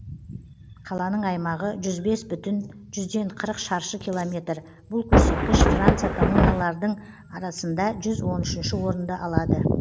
қаланың аймағы жүз бес бүтін жүзден қырық шаршы километр бұл көрсеткіш франция коммуналардың арасында жүз он үшінші орынды алады